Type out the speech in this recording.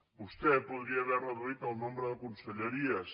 vostè podria haver reduït el nombre de conselleries